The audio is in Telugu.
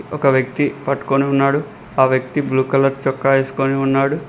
ఒక వ్యక్తి పట్టుకొని ఉన్నాడు ఆ వ్యక్తి బ్లూ కలర్ చొక్కా ఏసుకొని ఉన్నాడు.